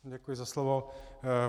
Děkuji za slovo.